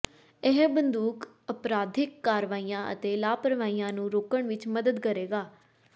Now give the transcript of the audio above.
ਇਹ ਬੰਦੂਕ ਅਪਰਾਧਿਕ ਕਾਰਵਾਈਆਂ ਅਤੇ ਲਾਪਰਵਾਹੀਆਂ ਨੂੰ ਰੋਕਣ ਵਿੱਚ ਮਦਦ ਕਰੇਗਾ